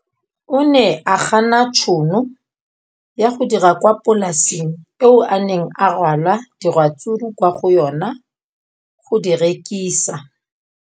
O ne a gana tšhono ya go dira kwa polaseng eo a neng rwala diratsuru kwa go yona go di rekisa.